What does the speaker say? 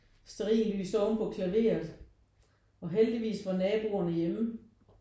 Stearinlys ovenpå klaveret og heldigvis var naboerne hjemme